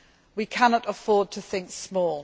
a strong position. We cannot afford